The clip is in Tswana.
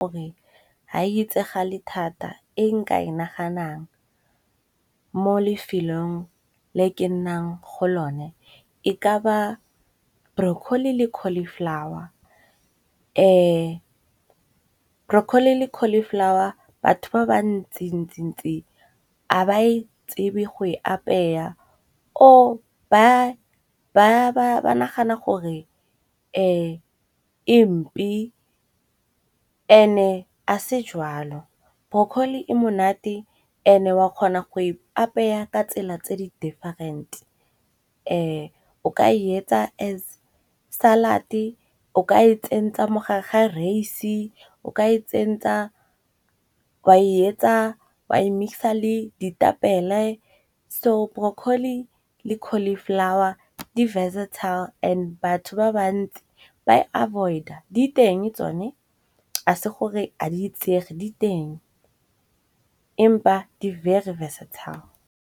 Gore ha e etsagale thata e nka e naganang mo lefelong le ke nnang go lone e ka ba brocolli le Cauliflower. Brocolli le Cauliflower batho ba ba ntsi-ntsi-ntsi a ba e tsebe go e apeya or ba nagana gore empe and-e a se jwalo. Broccoli e monate and-e o a kgona go e apaya ka tsela tse di different. O ka e etsa as salad-e, o ka e tsentsa mogare ga raise, o ka e tsentsa wa e etsa wa e mix-a le ditapele. So Brocolli le Cauliflower di versetile and batho ba bantsi ba e avoid-a, diteng tsone a se gore a di itsege diteng empa di very versatile.